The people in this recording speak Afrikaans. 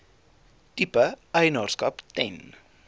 tipe eienaarskap ten